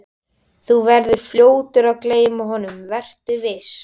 Þú verður fljótur að gleyma honum, vertu viss.